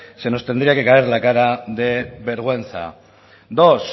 se nos tendría que caer la cara de vergüenza dos